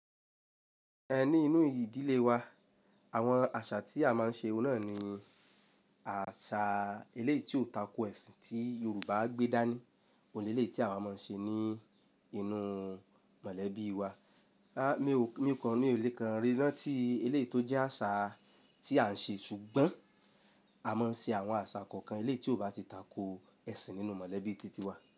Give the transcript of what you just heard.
Ẹ ní inú ìdílé wa, àwọn àṣà tí a máa ń ṣe náà ni àṣà ilé tí ò tako ẹ̀sìn tí Yorùbá gbé dání. Òhun leleyií ti àwa máa ń ṣe ní inú mọ̀lẹ́bí wa. Rárá, mí kò mi ọ lé kan rí ranti tí eléyii tó jẹ́ àṣà tí à ń ṣe ṣùgbọ́n a máa ń ṣe àwọn àṣà kọ̀ọ̀kan eléyii tí ò bá ti tako ẹ̀sìn nínú mọ̀lẹ́bí titi wa.